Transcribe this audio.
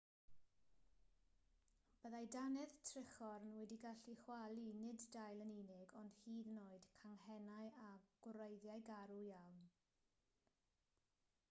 byddai dannedd trichorn wedi gallu chwalu nid dail yn unig ond hyd yn oed canghennau a gwreiddiau garw iawn